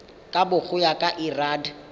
kabo go ya ka lrad